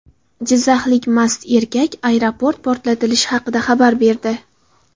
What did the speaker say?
Jizzaxlik mast erkak aeroport portlatilishi haqida xabar berdi.